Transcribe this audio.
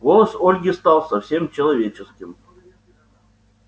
голос ольги стал совсем человеческим